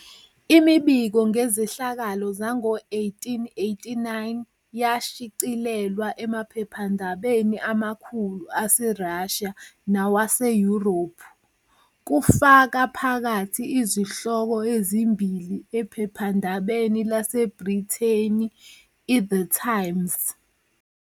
Imibiko ngezehlakalo zango-1889 yashicilelwa emaphephandabeni amakhulu aseRussia nawaseYurophu, kufaka phakathi izihloko ezimbili ephephandabeni laseBrithani iThe "Times